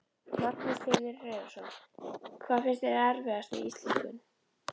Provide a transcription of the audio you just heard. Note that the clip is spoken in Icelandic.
Magnús Hlynur Hreiðarsson: Hvað finnst þeim erfiðast við íslenskun?